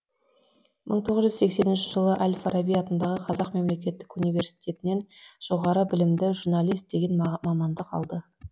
мың тоғыз жүз сексенінші жылы әль фараби атындағы қазақ мемлекеттік университетінен жоғары білімді журналист деген мамандық алды